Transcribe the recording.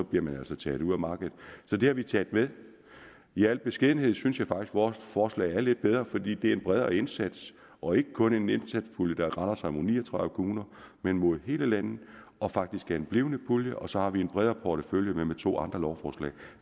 bliver man altså taget ud af markedet så det har vi taget med i al beskedenhed synes jeg faktisk vores forslag er lidt bedre fordi det er en bredere indsats og ikke kun en indsatspulje der retter sig mod ni og tredive kommuner men mod hele landet og faktisk er en blivende pulje og så har vi en bredere portefølje med to andre lovforslag